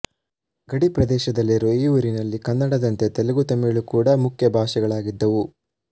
ಗಡಿ ಪ್ರದೇಶದಲ್ಲಿರುವ ಈ ಊರಿನಲ್ಲಿ ಕನ್ನಡದಂತೆ ತೆಲುಗುತಮಿಳು ಕೂಡ ಮುಖ್ಯ ಭಾಷೆಗಳಾಗಿದ್ದವು